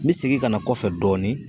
N bɛ segin ka na kɔfɛ dɔɔnin